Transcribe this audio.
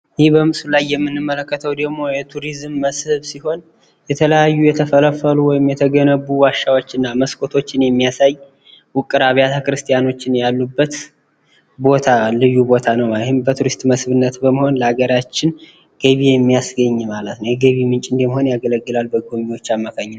ይህ በምስሉ ላይ የምንመለከተው ደሞ የቱሪዝም መስህብ ሲሆን ፤ የተለያዩ የተፈለፈሉ ወይም የተገነቡ ዋሻዎችን እና መስኮቶችን የሚያሳይ ፥ ዉቅር አብያተ ክርስትያኖች ያሉበት፣ ልዩ ቦታ ነው ማለት ነው ፤ ይህም በመስህብነት ለሃገራችን ገቢ የሚያስገኝ፣ የገቢ ምንጭ ሆኖ ያገለግላል፣ በጎብኝዎች አማካኝነት።